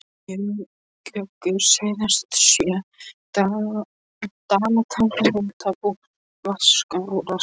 Gjögur suðaustan sjö, Dalatanga, Nautabú, Vatnsskarðshóla.